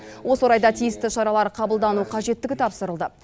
осы орайда тиісті шаралар қабылдану қажеттігі тапсырылды